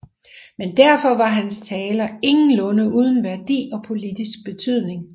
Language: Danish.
Men derfor var hans taler ingenlunde uden værdi og politisk betydning